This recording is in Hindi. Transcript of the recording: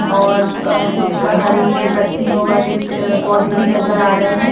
और अ कुछ हरी पतियों वाले अ पोधे भी नज़र आ रहे है।